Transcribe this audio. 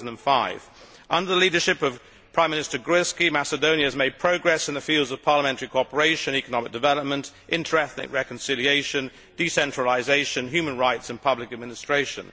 2005. Under the leadership of Prime Minister Groevski, Macedonia has made progress in the fields of parliamentary cooperation, economic development, inter ethnic reconciliation, decentralisation, human rights and public administration.